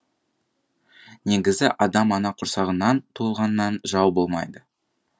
негізі адам ана құрсағынан туылғаннан жау болмайды